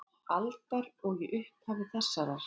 aldar og í upphafi þessarar.